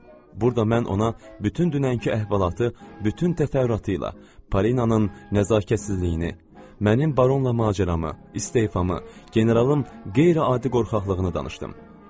Burada mən ona bütün dünənki əhvalatı, bütün təfərrüatıyla Parinanın nəzakətsizliyini, mənim baronla macəramı, istefamı, generalın qeyri-adi qorxaqlığını danışdım.